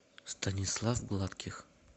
станислав гладких